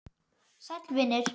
Sæll vinur